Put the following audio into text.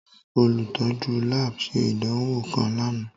Olutọju lab ṣe idanwo kan làná.